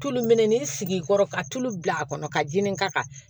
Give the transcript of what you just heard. Tulu mɛnɛ ni sigi kɔrɔ ka tulu bil'a kɔnɔ ka diinɛ ka kan